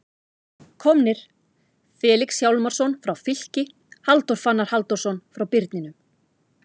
Komnir: Felix Hjálmarsson frá Fylki Halldór Fannar Halldórsson frá Birninum